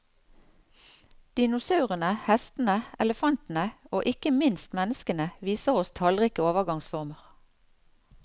Dinosaurene, hestene, elefantene og ikke minst menneskene viser oss tallrike overgangsformer.